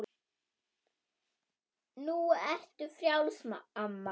Nú ertu frjáls, amma.